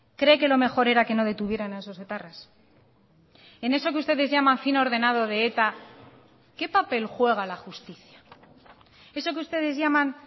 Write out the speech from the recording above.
cree que lo mejor era que no detuvieran a esos etarras en eso que ustedes llaman fin ordenado de eta qué papel juega la justicia eso que ustedes llaman